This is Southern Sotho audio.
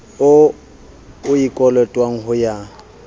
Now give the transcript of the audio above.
o e kolotwang ho ya